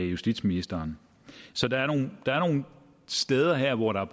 justitsministeren så der er nogle steder her hvor der